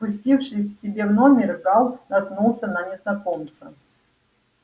спустившись к себе в номер гаал наткнулся на незнакомца